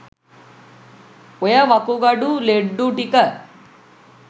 ඔය වකුගඩු ලෙඩ්ඩු ටික